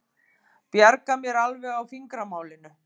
Bjarga mér alveg á fingramálinu.